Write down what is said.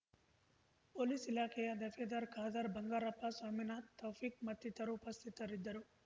police ಇಲಾಖೆಯ ದಫೇದಾರ್ ಖಾದರ್ ಬಂಗಾರಪ್ಪ ಸ್ವಾಮಿನಾಥ್‌ ತೌಫಿಕ್‌ ಮತ್ತಿತರು ಉಪಸ್ಥಿತರಿದ್ದರು